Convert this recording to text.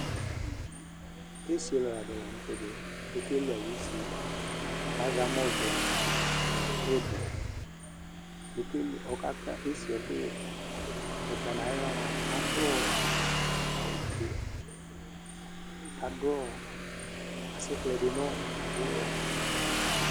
esɩɔlaɗɩ lanʊtɛ ɔƙelʊ aƴʊ esɩƴɛ azɛ amɔʋɛ nʊ ɩɓɔ mɛ aƙaƙa esɩƴɛ ɛƙʊƴɛ ɔtanʊ aƴɩhla aɗʊ awʊ ofʊe aɗʊ asɩƙplɛɗɩnʊ ʊwɔ